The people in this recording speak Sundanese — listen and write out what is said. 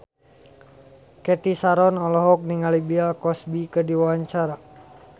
Cathy Sharon olohok ningali Bill Cosby keur diwawancara